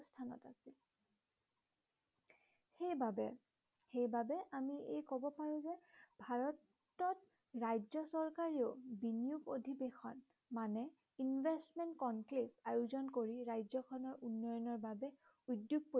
সেইবাবে সেইবাবে আমি এই কব পাৰো যে ভাৰতত ৰাজ্য় চৰকাৰেও বিনিয়োগ অধিৱেশন মানে investment conflict আয়োজন কৰি ৰাজ্য়খনৰ উন্নয়নৰ বাবে উদ্য়োগ